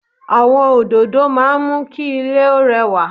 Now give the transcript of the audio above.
Àwọn òdòdó máa ń mú kí ilé ó rẹwà